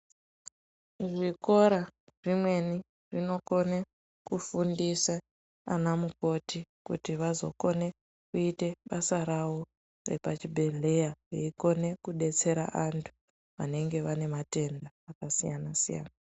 Zvikora zvimweni zvinokone kufundisa ana mukoti kuti vazokone kuite basa ravo repazvibhedhleya vakone kudetsera vanhu vanenge vane matenda akasiyana -siyana.